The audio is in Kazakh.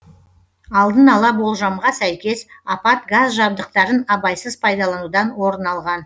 алдын ала болжамға сәйкес апат газ жабдықтарын абайсыз пайдаланудан орын алған